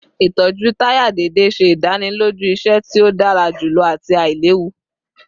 Itọju taya deede ṣe idaniloju iṣẹ ti o dara julọ ati ailewu